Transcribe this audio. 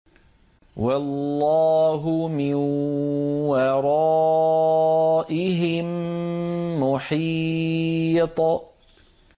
وَاللَّهُ مِن وَرَائِهِم مُّحِيطٌ